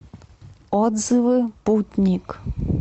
отзывы путник